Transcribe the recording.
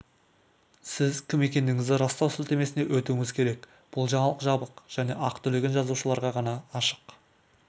сіз кім екендігіңізді растау сілтемесіне өтуіңіз керек бұл жаңалық жабық және ақы төлеген жазылушыларға ғана ашық